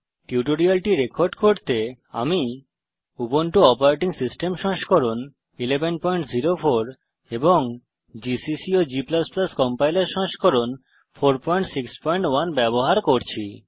এই টিউটোরিয়ালটি রেকর্ড করতে আমি উবুন্টু অপারেটিং সিস্টেম সংস্করণ 1104 এবং জিসিসি এবং g কম্পাইলার সংস্করণ 461 ব্যবহার করছি